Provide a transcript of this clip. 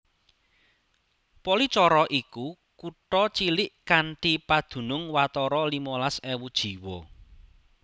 Policoro iku kutha cilik kanthi padunung watara limolas ewu jiwa